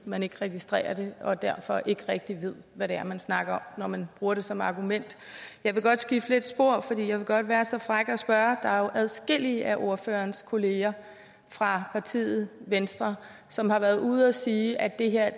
man ikke registrerer det og derfor ikke rigtig ved hvad det er man snakker når man bruger det som argument jeg vil godt skifte lidt spor for jeg vil godt være så fræk at spørge der er jo adskillige af ordførerens kolleger fra partiet venstre som har været ude at sige at det her